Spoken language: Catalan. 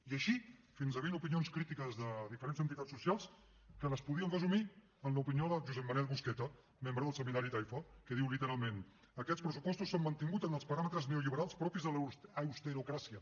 i així fins a vint opinions crítiques de diferents entitats socials que les podríem resumir en l’opinió de josep manel busqueta membre del seminari taifa que diu literalment aquests pressupostos s’han mantingut en els paràmetres neolliberals propis de l’austerocràcia